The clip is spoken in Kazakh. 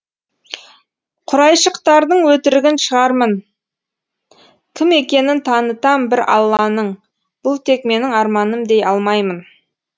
құрайшықтардың өтірігін шығармын кім екенін танытам бір алланың бұл тек менің арманым дей алмаймын